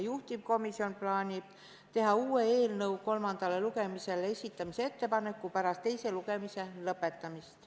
Juhtivkomisjon plaanib teha eelnõu kolmandaks lugemiseks esitamise uue ettepaneku pärast teise lugemise lõpetamist.